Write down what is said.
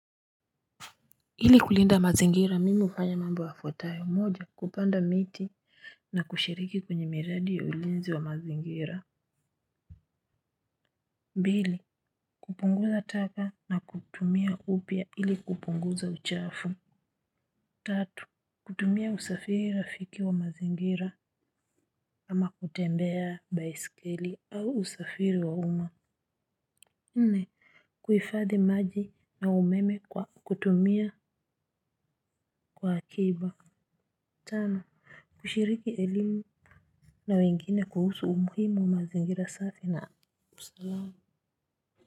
Ili kulinda mazingira mimi ufanya mambo yafuatayo moja kupanda miti na kushiriki kwenye miradi ya ulinzi wa mazingira pili kupunguza taka na kutumia upya ili kupunguza uchafu. Tatu kutumia usafiri rafiki wa mazingira kama kutembea baiskeli au usafiri wa uma nne kuhifadhi maji na umeme kwa kutumia kwa hakiba. Tano kushiriki elimu na wengine kuhusu umuhimu wa mazingira safi na usalama.